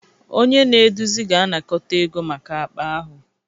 Onye na-eduzi ga-anakọta ego maka akpa ahụ